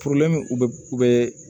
u bɛ u bɛ